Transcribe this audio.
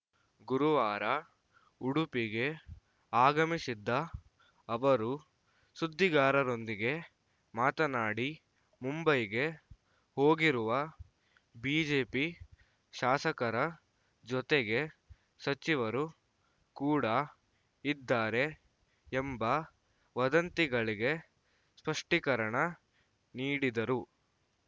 ಗುರುವಾರ ಉಡುಪಿಗೆ ಆಗಮಿಸಿದ್ದ ಅವರು ಸುದ್ದಿಗಾರರೊಂದಿಗೆ ಮಾತನಾಡಿ ಮುಂಬೈಗೆ ಹೋಗಿರುವ ಬಿಜೆಪಿ ಶಾಸಕರ ಜೊತೆಗೆ ಸಚಿವರು ಕೂಡ ಇದ್ದಾರೆ ಎಂಬ ವದಂತಿಗಳಿಗೆ ಸ್ಪಷ್ಟೀಕರಣ ನೀಡಿದರು